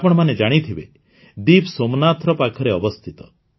ଆପଣମାନେ ଜାଣିଥିବେ ଦୀବ୍ ସୋମନାଥର ପାଖରେ ଅବସ୍ଥିତ